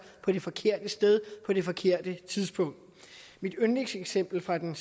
på det forkerte sted på det forkerte tidspunkt mit yndlingseksempel fra den